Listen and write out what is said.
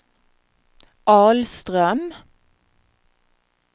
Ahlström